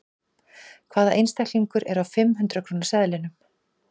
Hvaða einstaklingur er á fimm hundrað króna seðlinum?